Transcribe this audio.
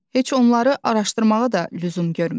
Heç onları araşdırmağa da lüzum görmürük.